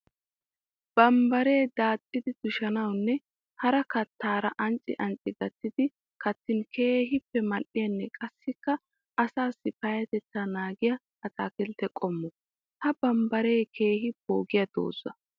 Bambbaree daaxxiddi tushshiininne hara kattaara ancci ancci gattidi kattin keehippe mali'ettiyanne qassikka asaasi payatetta naagiya ataakiltte qommo. Ha bambbaree keehi poogiya dooza.